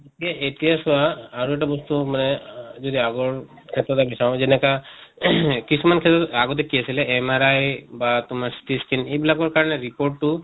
ইয়া এতিয়া চোৱা আৰু এটা বস্তু মানে যদি আগৰ বিচাৰোঁ যেনেকা ing কিছুমান ক্ষেত্ৰত আগতে কি আছিলে MRI বা তোমাৰ CT scan এইবিলাকৰ কাৰণে report টো